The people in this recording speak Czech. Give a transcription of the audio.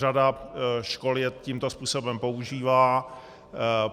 Řada škol je tímto způsobem používá.